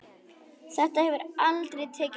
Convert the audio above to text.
Þetta hefur aldrei tekist betur.